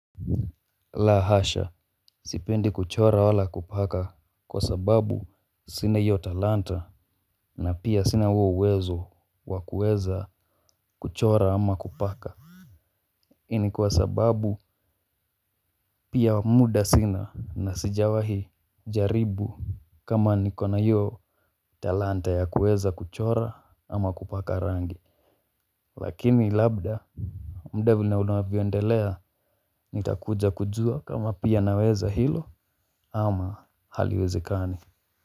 La hasha sipendi kuchora wala kupaka kwa sababu sina hiyo talanta na pia sina uo uwezo wa kuweza kuchora ama kupaka hii ni kwa sababu pia muda sina na sijawahi jaribu kama niko na hiyo talanta ya kuweza kuchora ama kupaka rangi. Lakini labda muda vile unavyoendelea nitakuja kujua kama pia naweza hilo ama haliwezekani.